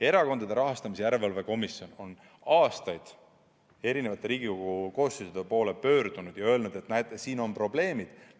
Erakondade Rahastamise Järelevalve Komisjon on aastaid eri Riigikogu koosseisude poole pöördunud ja öelnud, et näete, siin on probleemid.